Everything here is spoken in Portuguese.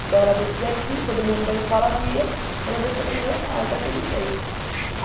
Então ela descia aqui, todo mundo da escola via ela descendo para a minha casa, daquele jeito.